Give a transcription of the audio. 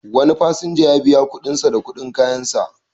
Wani fasinja ya biya kuɗin sa da kuma kuɗin kayansa.